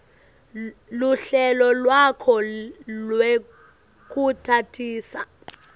luhlelo lwakho lwekutatisa